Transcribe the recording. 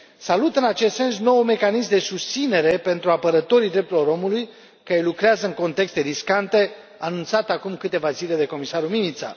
Salut în acest sens noul mecanism de susținere pentru apărătorii drepturilor persoanelor care lucrează în contexte riscante, anunțat acum câteva zile de comisarul Mimica.